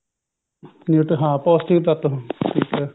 ਹਾਂ ਪੋਸਟਿਕ ਤੱਤ ਹੁੰਦੇ ਨੇ ਠੀਕ ਐ